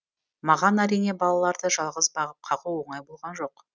маған әрине балаларды жалғыз бағып қағу оңай болған жоқ